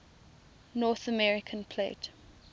north american plate